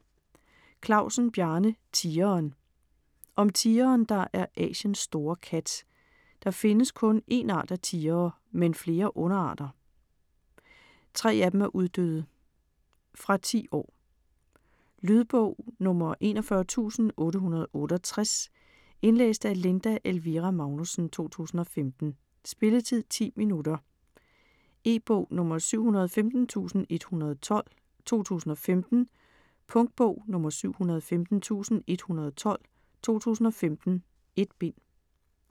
Klausen, Bjarne: Tigeren Om tigeren, der er Asiens store kat. Der findes kun en art af tigere, men flere underarter. 3 af dem er uddøde. Fra 10 år. Lydbog 41868 Indlæst af Linda Elvira Magnussen, 2015. Spilletid: 0 timer, 10 minutter. E-bog 715112 2015. Punktbog 715112 2015. 1 bind.